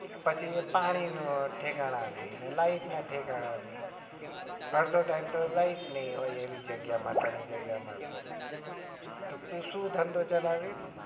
પછી પાણી ના ઠેકાણા નહી ને light ના ઠેકાણા નઈ અડધો time તો light નઈ હોય એવી જગ્ગ્યા માં તને જગ્યા મળશે તો તું શું ધંધો ચલાઈશ